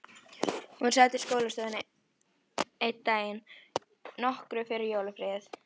Hún sat í skólastofunni einn daginn, nokkru fyrir jólafríið.